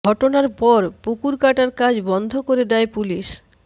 ঘটনার পর পুকুর কাটার কাজ বন্ধ করে দেয় পুলিশ